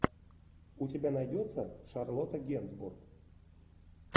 у тебя найдется шарлотта генсбур